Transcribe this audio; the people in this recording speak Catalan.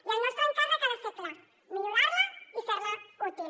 i el nostre encàrrec ha de ser clar millorar la i fer la útil